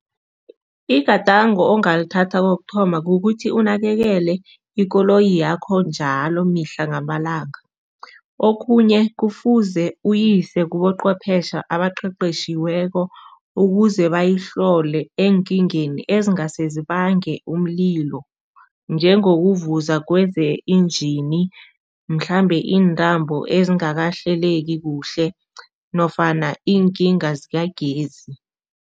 Igadango ongalithatha kokuthoma, kukuthi unakekele ikoloyi yakho njalo mihla ngamalanga. Okhunye, kufuze uyise kuqhwephesha abaqeqeshiweko ukuze bayihlole eenkingeni ezingase zibange umlilo, njengokuvuza kweze-engen, mhlambe iintambo ezingakahleleki kuhle nofana iinkinga zikagesi.